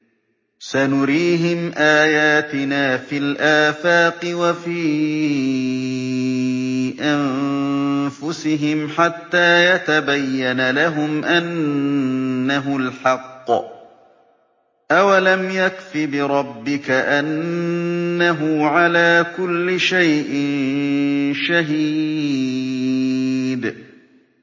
سَنُرِيهِمْ آيَاتِنَا فِي الْآفَاقِ وَفِي أَنفُسِهِمْ حَتَّىٰ يَتَبَيَّنَ لَهُمْ أَنَّهُ الْحَقُّ ۗ أَوَلَمْ يَكْفِ بِرَبِّكَ أَنَّهُ عَلَىٰ كُلِّ شَيْءٍ شَهِيدٌ